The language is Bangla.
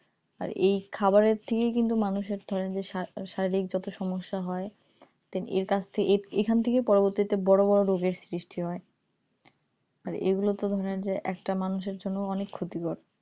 আর এই খাবারের থেকে কিন্তু মানুষের ধরেন যে শারীরিক যত সমস্যা হয় তা এর কাজ থেকে এখান থেকেই পরবর্তীতে বড় বড় রোগের সৃষ্টি হয় আর এগুলোতে ধরেন যে একটা মানুষের জন্য অনেক ক্ষতিকর